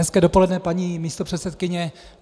Hezké dopoledne, paní místopředsedkyně.